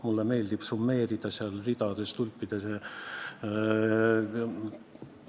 Mulle meeldib, kui summeeritud on ridades, tulpades jne.